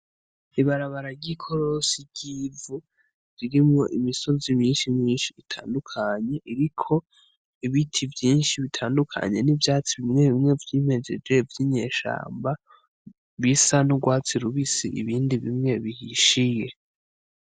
Ibarabara ry'ikorosi ry'ivu, ririmwo imisozi myinshi myinshi itandukanye, iriko ibiti vyinshi bitandukanye n'ivyatsi bimwe bimwe vyimejeje vy'inyeshamba, bisa n'urwatsi rubisi ibindi bimwe bihishiye.